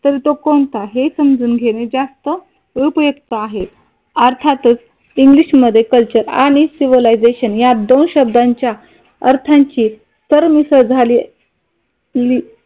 तर तो कोणता हे समजून घेणे जास्त उपयुक्त आहे. अर्थातच इंग्लिश मध्ये कल्चर आणि सिव्हिलायझेशन या दोन शब्दांच्या अर्थांची सरमिसळ झाली कि